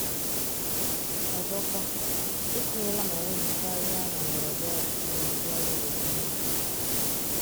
Ọzọkwa, etinyela m onwe m karịa na ndọrọ ndọrọ ọchịchị na ụdị ọrụ obodo niile.